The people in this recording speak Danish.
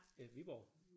Øh Viborg